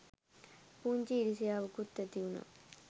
පුංචි ඉරිසියාවකුත් ඇතිවුනා.